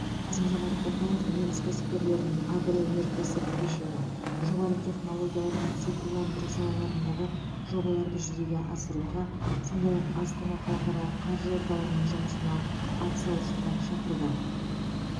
қасым жомарт тоқаев неміс кәсіпкерлерін агроөнеркәсіп кешені жоғары технологиялар мен цифрландыру салаларындағы жобаларды жүзеге асыруға сондай ақ астана халықаралық қаржы орталығының жұмысына атсалысуға шақырды